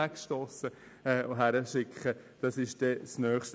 Wohin schickt man sie?